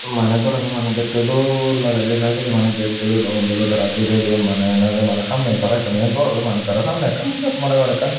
mane gharano mane dekte dol lage je saidodi mane gatetoyo don loroi tara giredon mane yen olode mane samme tore ekkan main gharo tara samne ekkan just mone gor ekkan.